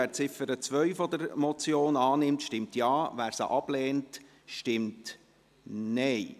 Wer Ziffer 2 der Motion annimmt, stimmt Ja, wer diese ablehnt, stimmt Nein.